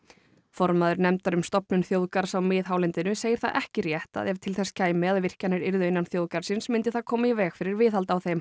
formaður nefndar um stofnun þjóðgarðs á miðhálendinu segir það ekki rétt að ef til þess kæmi að virkjanir yrðu innan þjóðgarðsins myndi það koma í veg fyrir viðhald á þeim